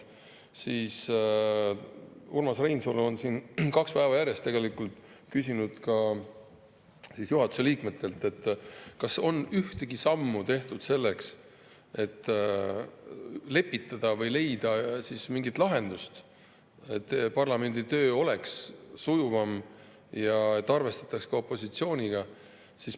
Urmas Reinsalu on siin kaks päeva järjest küsinud ka juhatuse liikmetelt, kas on ühtegi sammu tehtud selleks, et lepitada või leida mingit lahendust, et parlamendi töö oleks sujuvam ja et arvestataks ka opositsiooniga.